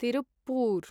Tiruppur